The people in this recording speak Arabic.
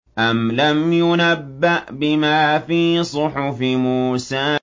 أَمْ لَمْ يُنَبَّأْ بِمَا فِي صُحُفِ مُوسَىٰ